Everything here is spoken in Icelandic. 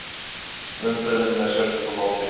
Umferðin með sérstöku móti